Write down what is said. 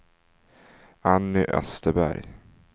Anny Österberg